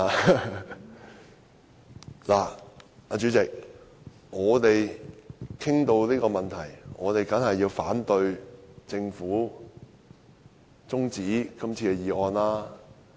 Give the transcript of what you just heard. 代理主席，談到這個問題，我們當然反對政府提出的休會待續議案。